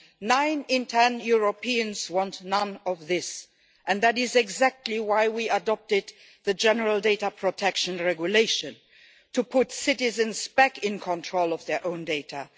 Nine in ten Europeans want none of this, and that is exactly why we adopted the General Data Protection Regulation to put citizens back in control of their own data